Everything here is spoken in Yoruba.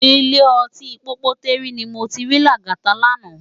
Ilé òtín Pópótèrí ni mó ti ri Lagata làná